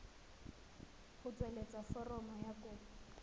go tsweletsa foromo ya kopo